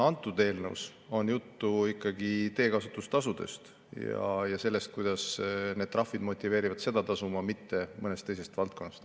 Kõnealuses eelnõus on juttu ikkagi teekasutustasudest ja sellest, kuidas need trahvid motiveerivad seda tasuma, mitte mõnest teisest valdkonnast.